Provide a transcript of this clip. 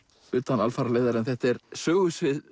utan alfaraleiðar en þetta er sögusvið